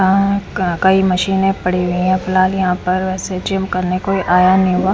आ का कई मशीनें पड़ी हुई हैं फिलहाल यहाँ पर ऐसे जिम करने कोई आया नहीं हुआ।